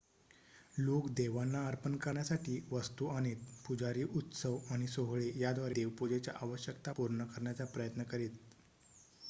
लोक देवांना अर्पण करण्यासाठी वस्तू आणीत पुजारी उत्सव आणि सोहळे याद्वारे देव पूजेच्या आवश्यकता पूर्ण करण्याचा प्रयत्न करीत